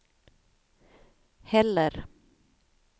heller